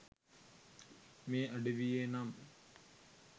මේ අඩවියේ නම්.